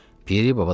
Piri baba da çağırdı.